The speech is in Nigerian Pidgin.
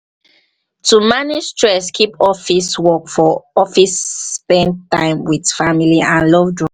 to manage stress keep office work for office spend time with family and loved ones